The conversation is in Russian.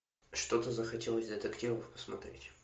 что то захотелось детективов посмотреть